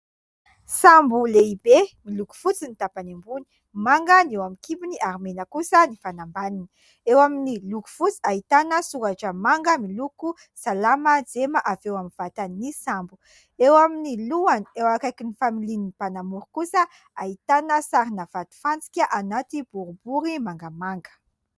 Sambo lehibe miloko fotsy ny tampany ambony, manga ny eo amin'ny kibony ary mena kosa ny fanambanina ; eo amin'ny loko fotsy ahitana soratra manga miloko salama jema avy eo amin'ny vatany sambo ; eo amin'ny lohany eo akaiky ny familian'ny mpanamory kosa ahitana sarina vatofantsika anaty boribory mangamanga.